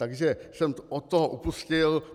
Takže jsem od toho upustil.